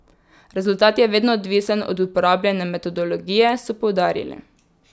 Rezultat je vedno odvisen od uporabljene metodologije, so poudarili.